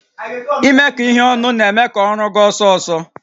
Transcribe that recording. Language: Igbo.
Imekọ ihe ọnụ na-eme ka ọrụ gaa ọsọ ọsọ